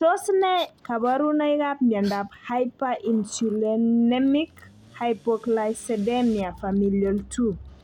Tos ne kaborunoikab miondop hyperinsulinemic hypoglycemia familial 2?